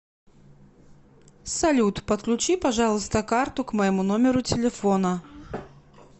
салют подключи пожалуйста карту к моему номеру телефона